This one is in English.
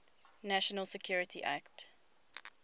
national security act